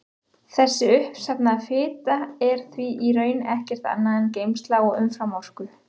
Þessi uppsafnaða fita er því í raun ekkert annað en geymsla á umframorku.